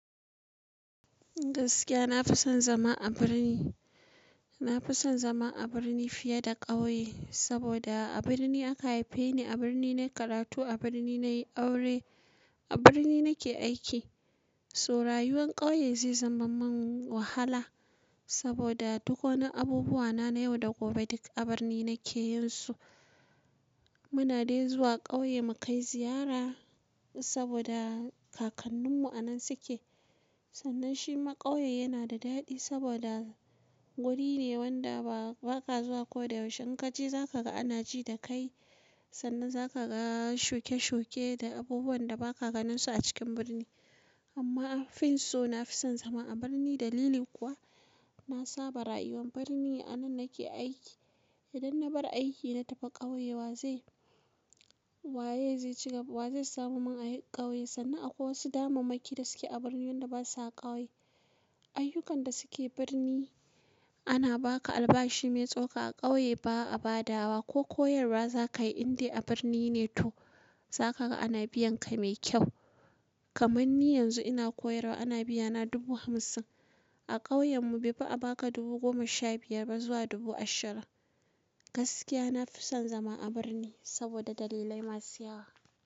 Gaskiya, na fi son zama a birni. Na fi son zama a birni fiye da ƙauye. Saboda a birni aka haife ni, a birni na yi karatu, a birni na yi aure, a birni nake aiki. So rayuwar ƙauye zai zama min wahala saboda duk wani abubuwa na yau da gobe duk a birni nake yin su. Muna dai zuwa ƙauye mu kai ziyara saboda kakanninmu a nan suke. Sannan shi ma ƙauye yana da daɗi saboda wuri ne wanda ba ka zuwa ko da yaushe. In ka je, za ka ga ana ji da kai. Sannan za ka ga shoke-shoke da abubuwan da ba ka ganin su a cikin birni. Amma afinsu, na fi son zama a birni. Dalili kuwa na saba rayuwa birni, a nan nake aiki. Idan na bar aiki na tafi ƙauye, wa zai, wa ya zai ci gaba, wa zai samu min a yi ƙauye? Sannan akwai wasu damamaki da suke a birni wanda basa a ƙauye. Ayyukan da suke birni ana ba ka albashi mai tsoka a ƙauye ba a badawa. Ko koyarwa za ka yi, indai abirni ne to za ka ga ana biyan ka mai kyau. Kamanni yanzu ina koyarwa ana biya na dubu hamsin. A ƙauyen mu bai fi a ba ka dubu goma sha biyar ba zuwa dubu ashirin. Gaskiya, na fi son zama a birni saboda dalilai masu yawa.